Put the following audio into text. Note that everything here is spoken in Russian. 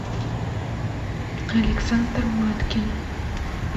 александр маткин